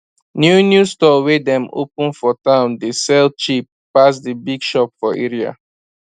new new store wey dem open for town dey sell cheap pass d big shop for area